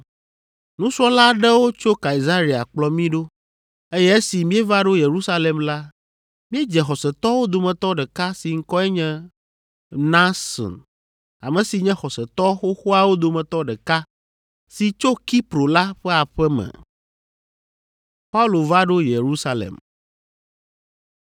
Nusrɔ̃la aɖewo tso Kaesarea kplɔ mí ɖo, eye esi míeva ɖo Yerusalem la, míedze xɔsetɔwo dometɔ ɖeka si ŋkɔe nye Mnason, ame si nye xɔsetɔ xoxoawo dometɔ ɖeka si tso Kipro la ƒe aƒe me.